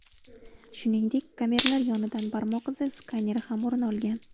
Shuningdek, kameralar yonidan barmoq izi skaneri ham o‘rin olgan.